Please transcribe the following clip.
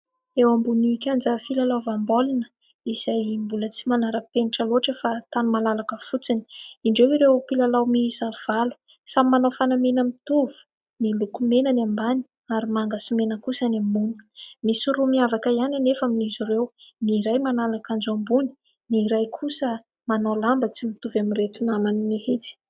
Eo ambon'ny kianja filalaovam-baolina izay mbola tsy manara-penitra loatra fa tany malalaka fotsiny. Indreo ireo mpilalao miisa valo samy manao fanamiana mitovy miloko mena ny ambany, ary manga sy mena kosa ny ambony misy roa miavaka ihany anefa aminiz'ireo ny : iray manala akanjo ambony, ny iray kosa manao lamba tsy mitovy amin'ireto namany mihitsy.